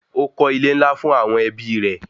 Ó kọ́ ilé-ńlá fún àwọn ẹbí rẹ̀